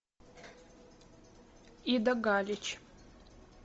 ида галич